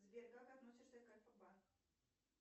сбер как относишься к альфа банку